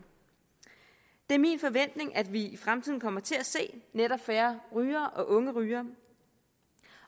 det er min forventning at vi i fremtiden kommer til at se netop færre rygere og unge rygere